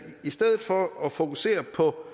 stedet for at fokusere på